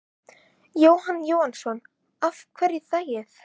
Jóhann Jóhannsson: Af hverju þangað?